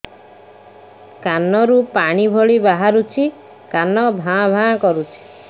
କାନ ରୁ ପାଣି ଭଳି ବାହାରୁଛି କାନ ଭାଁ ଭାଁ କରୁଛି